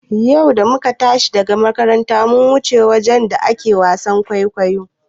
Yau da muka tashi daga makaranta muka wuce wajen da ake wasan kwaikwayo.